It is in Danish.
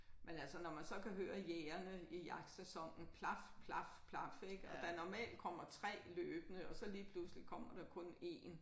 Men altså når man så kan høre jægerne i jagtsæson plaf plaf plaf ik og der normalt kommer 3 løbende og så lige pludselig kommer der kun 1